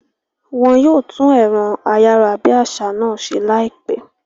Wọn yóò tún ẹ̀rọ ayárabíàṣá náà ṣe láìpẹ́